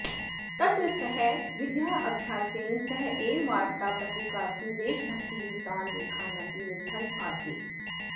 तत्र सः विद्याभ्यासेन सहैव वार्तापत्रिकासु देशभक्तियुतान् लेखान् अपि लिखन् आसीत्